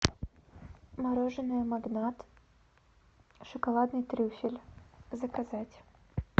мороженое магнат шоколадный трюфель заказать